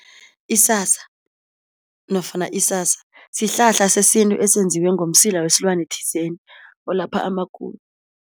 Isasa nofana isasa sihlahla sesintu esenziwe ngomsila wesilwane thizeni olapha amagulo.